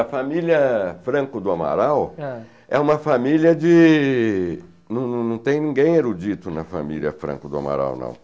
A família Franco do Amaral é uma família de... Não não não tem ninguém erudito na família Franco do Amaral, não.